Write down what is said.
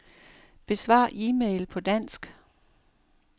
Besvar e-mail på dansk.